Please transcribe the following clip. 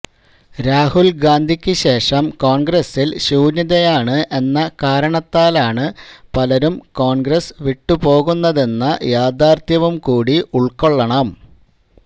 രാഹുല് ഗാന്ധിക്ക് ശേഷം കോണ്ഗ്രസില് ശൂന്യതയാണ് എന്ന കാരണത്താലാണ് പലരും കോണ്ഗ്രസ് വിട്ട് പോകുന്നതെന്ന യാഥാര്ഥ്യവുംകൂടി ഉള്ക്കൊള്ളണം